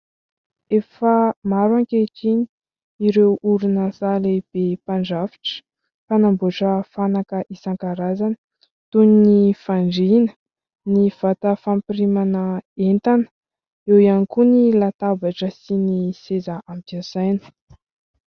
Efa maro ankehitriny ireo orinasa lehibe mpandrafitra mpanamboatra fanaka isankarazany toy ny : fandriana, ny vata fampirimana entana, eo ihany koa ny latabatra sy ny seza ampiasaina.